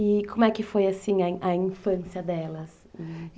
E como é que foi, assim, a infância delas?